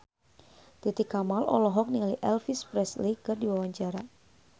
Titi Kamal olohok ningali Elvis Presley keur diwawancara